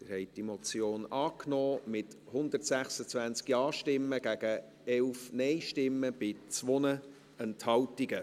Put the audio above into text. Sie haben diese Motion angenommen, mit 126 Ja- gegen 11 Nein-Stimmen bei 2 Enthaltungen.